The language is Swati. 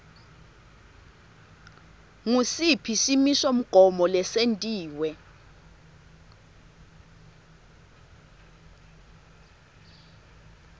ngusiphi simisomgomo lesentiwe